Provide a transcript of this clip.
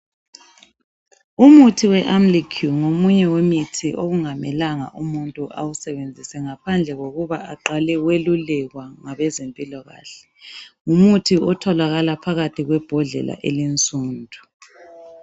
Umuthi weAmlycure ngomunye wemithi okungamelanga umuntu awusebenzise ngaphandle kokuba aqale welulekwa ngabezempilakahle. Ngumuthi otholakala phakathi kwebhodlela elinsundu.